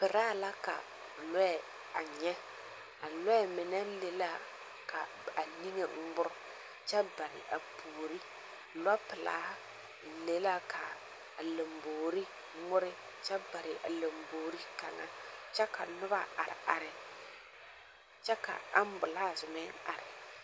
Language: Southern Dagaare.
Peraa la ka lͻԑ a nyԑ. A lͻԑ mine le la ka a niŋe ŋmore kyԑ bare a puori. Lͻpelaa le la ka a lamboori kyԑ bare a lamboori kaŋa kyԑ ka noba are are, kyԑ ka ambulaase meŋ are.